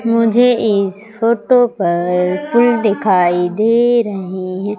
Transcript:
मुझे इस फोटो पर फूल दिखाई दे रहे हैं।